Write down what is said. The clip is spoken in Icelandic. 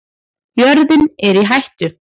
Jörðin er í hættu